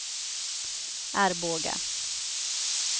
Arboga